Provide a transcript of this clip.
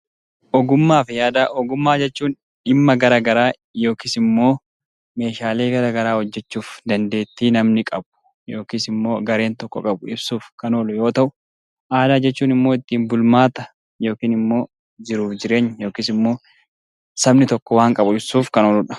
Ogummaa fi aadaa Ogummaa jechuun dhimma gara garaa yookiis immoo meeshaalee gara garaa hojjechuuf dandeettii namni qabu yookiis immoo gareen tokko qabu ibsuuf kan oolu yoo ta'u; Aadaa jechuun immoo ittiin bulmaata yookiis immoo jiruuf jireenya sabni tokko waan qabu ibsuuf kan oolu dha.